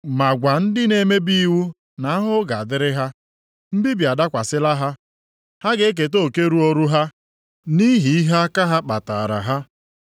Ma gwa ndị na-emebi iwu na ahụhụ dịrị ha. Mbibi adakwasịla ha! Ha ga-eketa oke ruoru ha, nʼihi ihe aka ha kpataara ha.